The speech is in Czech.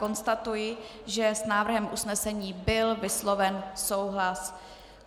Konstatuji, že s návrhem usnesení byl vysloven souhlas.